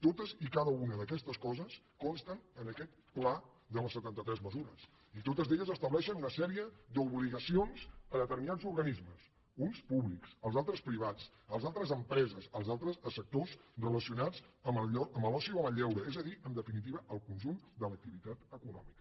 totes i cada una d’aquestes coses consten en aquest pla de les setanta tres mesures i totes elles estableixen una sèrie d’obligacions a determinats organismes uns públics els altres privats els altres empreses els altres sectors relacionats amb l’oci o amb el lleure és a dir en definitiva al conjunt de l’activitat econòmica